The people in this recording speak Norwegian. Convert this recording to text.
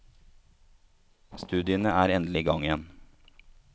Studiene er endelig i gang igjen.